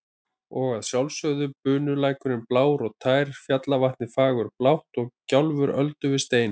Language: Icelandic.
Og að sjálfsögðu bunulækurinn blár og tær, fjallavatnið fagurblátt og gjálfur öldu við stein.